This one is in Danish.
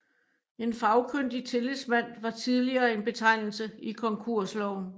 En fagkyndig tillidsmand var tidligere en betegnelse i konkursloven